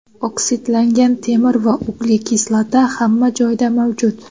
Oksidlangan temir va uglekislota hamma joyda mavjud.